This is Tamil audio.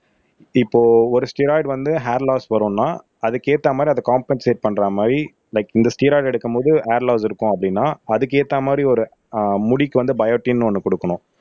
இப்போ ஒரு ஸ்டெராய்டு வந்து ஹேர் லாஸ் வரும்ன்னா அதுக்கு ஏத்த மாதிரி அத காம்பென்சேட் பண்ற மாதிரி லைக் இந்த ஸ்டெராய்டு எடுக்கும்போது ஹேர் லாஸ் இருக்கும் அப்படின்னா அதுக்கு ஏத்த மாதிரி ஒரு ஆஹ் முடிக்கு வந்து பயோட்டின் ஒண்ணு கொடுக்கணும்